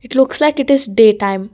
looks like it is day time.